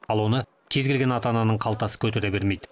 ал оны кез келген ата ананың қалтасы көтере бермейді